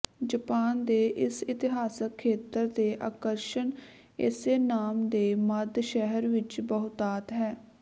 Japan ਦੇ ਇਸ ਇਤਿਹਾਸਕ ਖੇਤਰ ਦੇ ਆਕਰਸ਼ਣ ਇਸੇ ਨਾਮ ਦੇ ਮੱਧ ਸ਼ਹਿਰ ਵਿੱਚ ਬਹੁਤਾਤ ਹੈ